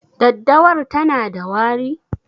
Daddawar tana da wari?